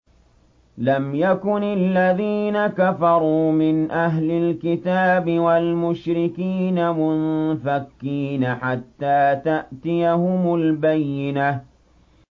لَمْ يَكُنِ الَّذِينَ كَفَرُوا مِنْ أَهْلِ الْكِتَابِ وَالْمُشْرِكِينَ مُنفَكِّينَ حَتَّىٰ تَأْتِيَهُمُ الْبَيِّنَةُ